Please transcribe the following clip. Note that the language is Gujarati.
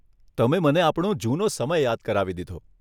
તમે મને આપણો જુનો સમય યાદ કરાવી દીધો.